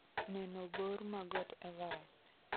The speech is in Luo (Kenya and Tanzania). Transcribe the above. Neno bor ma Got Everest